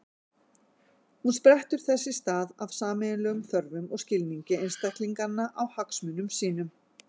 Hún sprettur þess í stað af sameiginlegum þörfum og skilningi einstaklinganna á hagsmunum sínum.